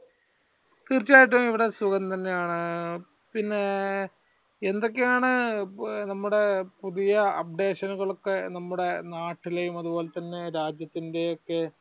തീർച്ചയായിട്ടും ഇവിടെ സുഖം തന്നെയാണ്. പിന്നെ എന്തൊക്കെയാണ് നമ്മുടെ പുതിയ updation നമ്മുടെ നാട്ടിലെ അതുപോലെ തന്നെ രാജ്യത്തിന്റെയൊക്കെ